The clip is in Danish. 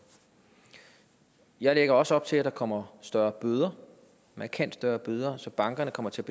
jeg lægger også op til at der kommer større bøder markant større bøder så bankerne kommer til